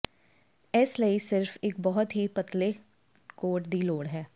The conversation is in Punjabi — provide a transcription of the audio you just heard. ਇਸ ਲਈ ਸਿਰਫ ਇਕ ਬਹੁਤ ਹੀ ਪਤਲੇ ਕੋਟ ਦੀ ਲੋੜ ਹੈ